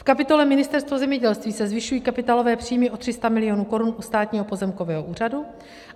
V kapitole Ministerstvo zemědělství se zvyšují kapitálové příjmy o 300 milionů korun u Státního pozemkového úřadu.